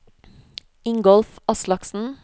Ingolf Aslaksen